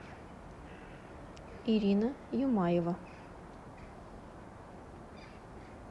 ирина юмаева